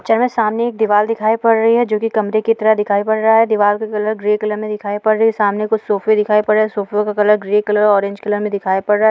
Picture में सामने एक दीवार दिखाई पड़ रही है जो की कमरे की तरह दिखाई पड़ रहा है दीवार का कलर ग्रे कलर में दिखाई पड़ रही है सामने कुछ सोफ़े दिखाई पड़ रहें हैं सोफ़े का colour orange colour grey colour colour में दिखाई पड़ रहा है।